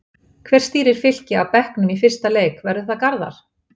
Hver stýrir Fylki af bekknum í fyrsta leik, verður það Garðar?